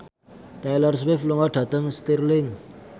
Taylor Swift lunga dhateng Stirling